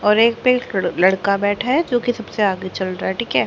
और एक लड़का बैठा है जो की सबसे आगे चल रहा है ठीक है।